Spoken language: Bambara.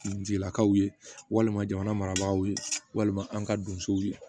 N jigilakaw ye walima jamana maraw ye walima an ka donsow ye